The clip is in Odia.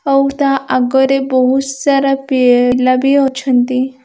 ଆଉ ତା ଆଗରେ ବହୁତ ସାରା ପେଲା ବି ଅଛନ୍ତି।